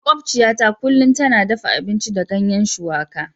Makwabciyata kullum tana dafa abinci da ganyen shuwaka.